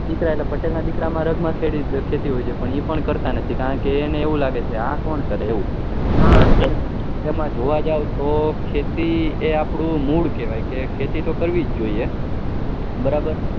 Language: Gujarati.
પટેલ ના દીકરા એટલે પટેલ ના દીકરા માં રંગ માં ખેતી હોય છે પણ એ પણ કરતા નથી એમને એવું લાગે કે આ કોણ કરેએવું તમે જોવા જાવ તો ખેતી એ આપણું મૂળ કેવાયકે ખેતરી તો કરવી જ જોઈએ બરાબર